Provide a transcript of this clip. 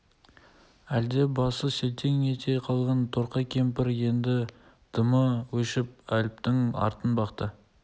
әлгінде басы селтең ете қалған торқа кемпір енді дымы өшіп әліптің артын бақты